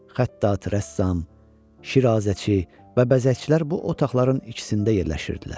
Xəttat, rəssam, Şirazəçi və bəzəkçilər bu otaqların ikisində yerləşirdilər.